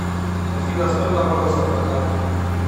афина сколько бонусов на карте